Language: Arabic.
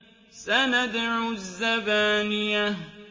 سَنَدْعُ الزَّبَانِيَةَ